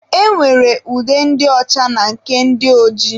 E nwere ude ndị ọcha na nke ndị ojii.